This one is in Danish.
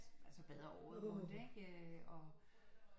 Altså bader året rundt ikke og